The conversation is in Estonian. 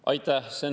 Aitäh!